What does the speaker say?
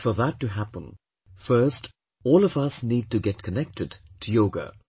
But for that to happen, first all of us need to get connected to Yoga